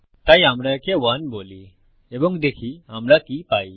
তাই আমরা একে 1 বলি এবং দেখি আমরা কি পাই